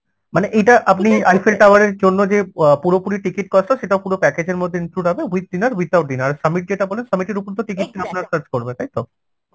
মানে এটা আপনি Eiffel Tower এর জন্য যে অ্যাঁ পুরোপুরি ticket cost টা সেটা পুরো package এর মধ্যে include হবে with dinner without dinner summit যেটা বলে summit এর উপর তো ticket দিয়ে আপনার কাজ করবে তাই তো?